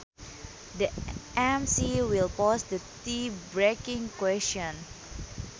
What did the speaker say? The emcee will pose the tie breaking question